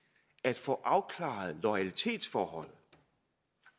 at få afklaret loyalitetsforholdet